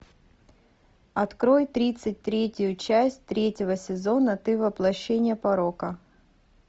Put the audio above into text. открой тридцать третью часть третьего сезона ты воплощение порока